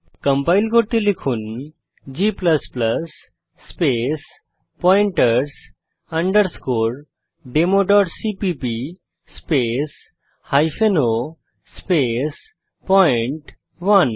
compile করতে লিখুনg space pointers democpp space hyphen o space পয়েন্ট1